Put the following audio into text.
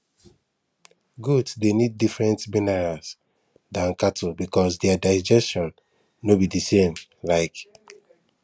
goats dey need different minerals than cattle because their digestion no be the same um